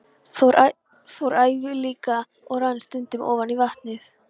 Fór yfir læki og rann stundum ofan í vatnið.